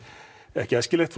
ekki æskilegt